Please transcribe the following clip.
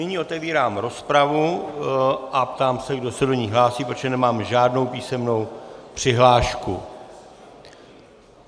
Nyní otevírám rozpravu a ptám se, kdo se do ní hlásí, protože nemám žádnou písemnou přihlášku.